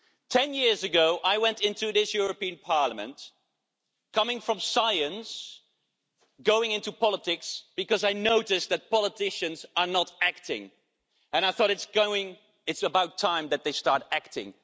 Ten years ago, I went into this European Parliament coming from science, going into politics because I noticed that politicians were not acting, and I thought it's about time that they started acting.